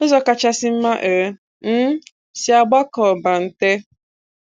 Ụzọ kachasị mma e um si agbakọ ọbante